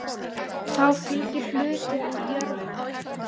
Þá fylgir hluti úr jörðum.